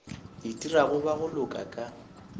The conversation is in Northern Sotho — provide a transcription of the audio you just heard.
itirago ba go loka ka